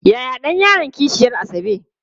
Yaya ɗan yaron kishiyar Asabe?